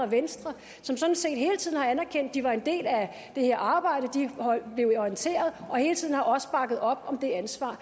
venstre hele tiden har anerkendt at de var en del af det her arbejde og at de blev orienteret og hele tiden også har bakket op om det ansvar